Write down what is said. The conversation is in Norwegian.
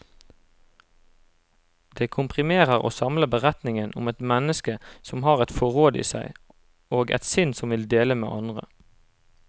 Det komprimerer og samler beretningen om et menneske som har et forråd i seg, og et sinn som vil dele med andre.